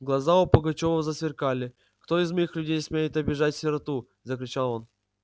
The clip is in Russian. глаза у пугачёва засверкали кто из моих людей смеет обижать сироту закричал он